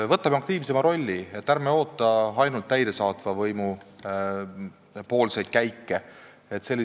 Võtame aktiivsema rolli, ärme ootame ainult täidesaatva võimu käike!